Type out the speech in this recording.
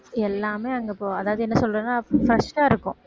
எல்லாமே அங்க ப~ அதாவது என்ன சொல்றேன்னா fresh ஆ இருக்கும்